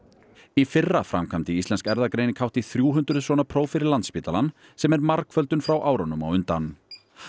í fyrra framkvæmdi Íslensk erfðagreining hátt í þrjú hundruð svona próf fyrir Landspítalann sem er margföldun frá árunum á undan